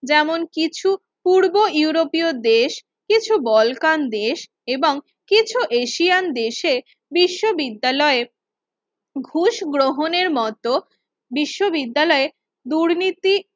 যেমন কিছু পূর্ব ইউরোপীয় দেশ খুব বলকান দেশ এবং কিছু এশিয়ান দেশে বিশ্ববিদ্যালয় ঘুষ গ্রহণের মত বিশ্ববিদ্যালয় দুর্নীতি যেমন